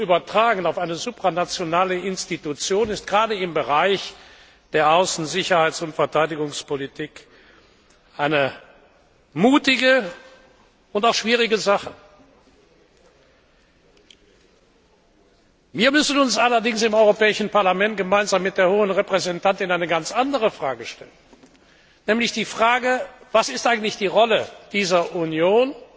Und diese Souveränität auf eine supranationale Institution zu übertragen, ist gerade im Bereich der Außen Sicherheits und Verteidigungspolitik eine mutige und auch schwierige Sache. Wir müssen uns allerdings im Europäischen Parlament gemeinsam mit der Hohen Repräsentantin eine ganz andere Frage stellen, nämlich Was ist eigentlich die Rolle dieser Union